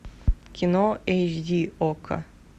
кино эйч ди окко